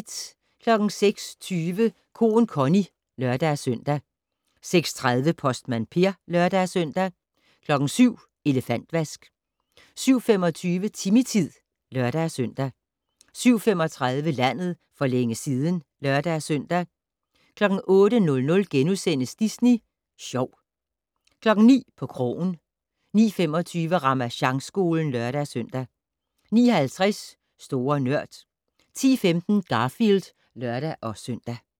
06:20: Koen Connie (lør-søn) 06:30: Postmand Per (lør-søn) 07:00: Elefantvask 07:25: Timmy-tid (lør-søn) 07:35: Landet for længe siden (lør-søn) 08:00: Disney Sjov * 09:00: På krogen 09:25: Ramasjangskolen (lør-søn) 09:50: Store Nørd 10:15: Garfield (lør-søn)